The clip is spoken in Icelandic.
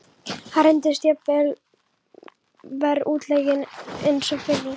Hann reyndist jafnvel enn verr útleikinn en sá fyrri.